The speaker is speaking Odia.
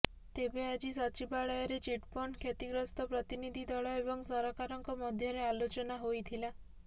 ତେବେ ଆଜି ସଚିବାଳୟରେ ଚିଟଫଣ୍ଡ କ୍ଷତିଗ୍ରସ୍ତ ପ୍ରତିନିଧି ଦଳ ଏବଂ ସରକାରଙ୍କ ମଧ୍ୟରେ ଆଲୋଚନା ହୋଇଥିଲା